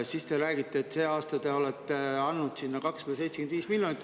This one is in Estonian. Te räägite, et see aasta te olete andnud sinna 275 miljonit.